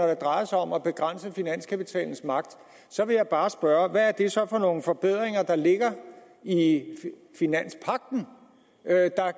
det drejer sig om at begrænse finanskapitalens magt så vil jeg bare spørge hvad er det så for nogle forbedringer der ligger i i finanspagten